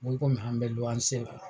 Ngo an be la.